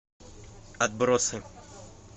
отбросы